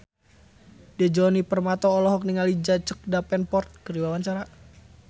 Djoni Permato olohok ningali Jack Davenport keur diwawancara